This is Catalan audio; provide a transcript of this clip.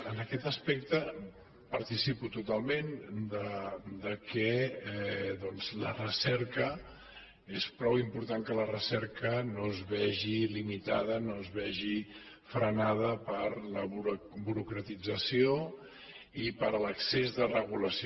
en aquest aspecte participo totalment del fet que doncs és prou important que la recerca no es vegi limitada no es vegi frenada per la burocratització i per l’excés de regulació